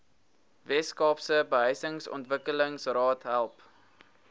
weskaapse behuisingsontwikkelingsraad help